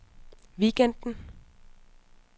weekenden